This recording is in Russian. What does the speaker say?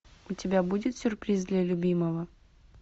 у тебя будет сюрприз для любимого